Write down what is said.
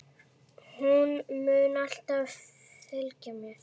Hún mun alltaf fylgja mér.